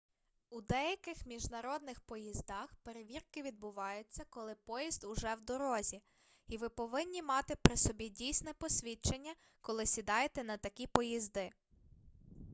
у деяких міжнародних поїздах перевірки відбуваються коли поїзд уже в дорозі і ви повинні мати при собі дійсне посвідчення коли сідаєте на такі поїзди